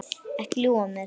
Ekki ljúga að mér.